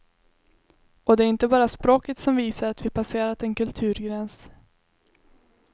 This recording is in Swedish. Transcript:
Och det är inte bara språket som visar att vi passerat en kulturgräns.